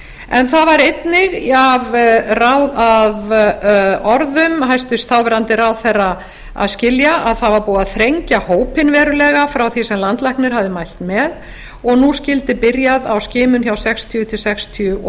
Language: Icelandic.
en það var einnig af orðum hæstvirtur þáverandi ráðherra að skilja að búið væri að þrengja hópinn verulega frá því sem landlæknir hafði mælt með og nú skyldi byrjað á skima frá sextíu til sextíu og